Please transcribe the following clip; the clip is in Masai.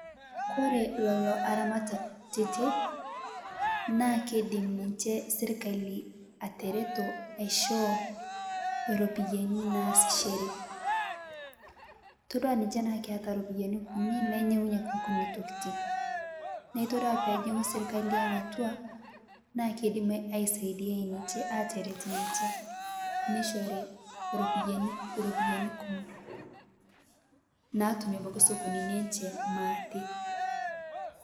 Kore leloo aramatak kutitii naa keidim ninshee sirkalii ateretoo aishoo ropiyani naasishere itodua ninshee naa keata ropiyani kunii nainyeng'unye nkunii tokiti naa itodua peejing'ung'u serkali aang' atua naa keidim aisaidiai ninshee ateret ninshe neishorii ropiyani, ropiyani kumoo natumie abaki sokonini enshee maate.